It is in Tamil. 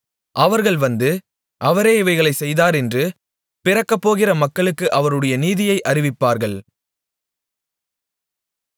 அவர்கள் வந்து அவரே இவைகளைச் செய்தார் என்று பிறக்கப்போகிற மக்களுக்கு அவருடைய நீதியை அறிவிப்பார்கள்